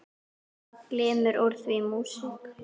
Það glymur úr því músík.